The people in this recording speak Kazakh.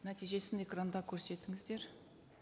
нәтижесін экранда көрсетіңіздер